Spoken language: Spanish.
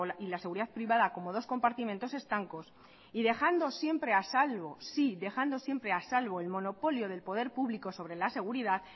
y la seguridad privada como dos compartimentos estancos y dejando siempre a salvo sí dejando siempre a salvo el monopolio del poder público sobre la seguridad